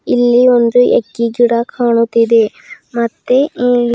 ಇಲ್ಲಿ ಒಂದು ಎಕ್ಕಿ ಗಿಡ ಕಾಣುತ್ತಿದೆ ಮತ್ತೆ ಇಲ್ಲಿ--